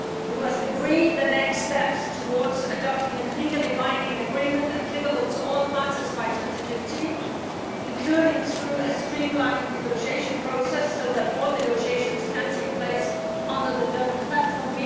We must agree the next steps towards adopting a legally binding agreement applicable to all parties by 2015, including through a streamlined negotiation process so that all negotiations can take place under the Durban Platform.